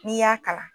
N'i y'a kalan